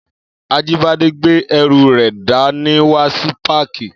Ajíbádé gbé ẹrù rẹ̀ dá ní wá sí páàkì